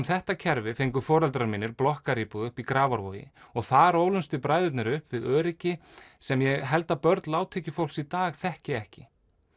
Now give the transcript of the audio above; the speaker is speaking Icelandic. þetta kerfi fengu foreldrar mínir blokkaríbúð uppi í Grafarvogi og þar ólumst við bræðurnir upp við öryggi sem ég held að börn lágtekjufólks í dag þekki ekki